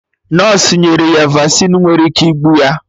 Nọsụ nyere ya Vasịn nwere ike igbu ya